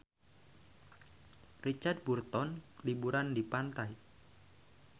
Richard Burton keur liburan di pantai